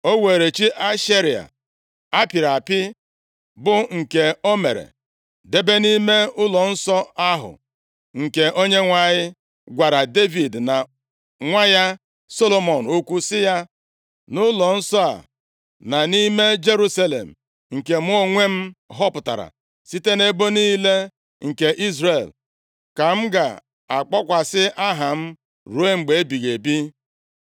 O were chi Ashera a pịrị apị, bụ nke o mere, debe nʼime ụlọnsọ ahụ, nke Onyenwe anyị gwara Devid na nwa ya Solomọn okwu, sị, “Nʼụlọnsọ a na nʼime Jerusalem, nke mụ onwe m họpụtara site nʼebo niile nke Izrel, ka m ga-akpọkwasị Aha m ruo mgbe ebighị ebi.